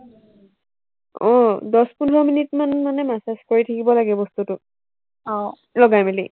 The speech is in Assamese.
আহ দহ পোন্ধৰ মিনিটমান মানে massage কৰি থাকিব লাগে বস্তুটো লগাই মেলি